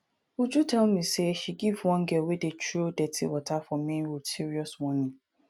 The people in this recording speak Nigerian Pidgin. uju tell me say she give one girl wey dey throw dirty water for main road serious warning